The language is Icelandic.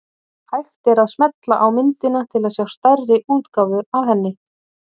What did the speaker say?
Hægt er að smella á myndina til að sjá stærri útgáfu af henni.